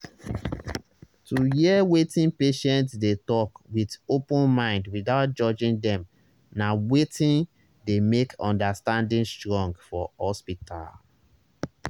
to hear wetin patient dey talk with open mind without judging dem na wetin dey make understanding strong for hospital.